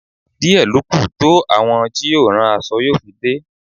Díẹ̀ lọ kú to àwọn tí yóò rán aṣọ yóò fi dé.